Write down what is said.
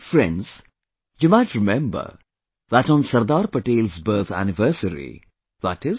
Friends, you might remember that on Sardar Patel's birth anniversary i